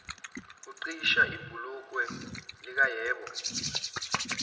uqhwisha ibhulokwe likayebo